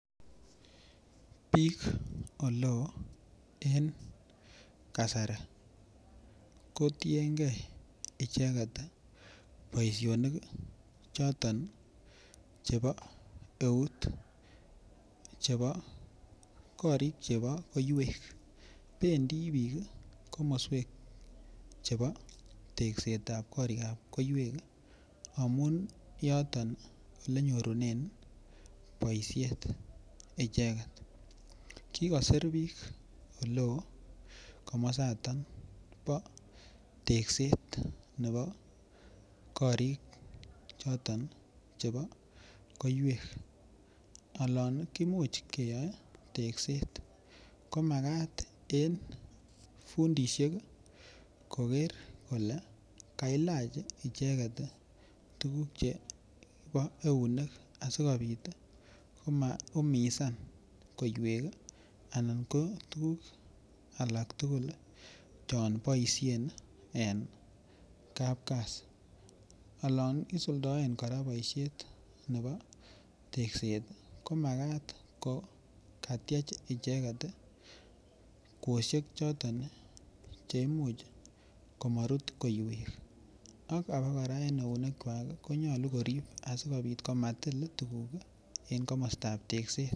Biik ele oo en kasari kotiengee icheget ii boisionik choton chebo eut chebo korik chebo koiywek bendii biik komoswek chebo teksetab korikab koiywek amun yoton ole nyorunen boishet icheget. Kikosir biik ole oo kamosaton bo tekset nebo korik choton chebo koiywek alan kimuch keyoe tekset ko makat en fundishek koger kole kaimuch icheget ii tuguk chebo eunek asikopit ii koma umisan koiywek ii anan ko tuguk alak tugul Chon boishen en kapkasi. Olon isuldoen koraa boishet nebo tekset ii ko makat ko katyech icheget ii kwoshek choton che imuch komorut koiywek abak koraa en eunekwak konyoluu korib asikopit komatil tuguk en komostab tekset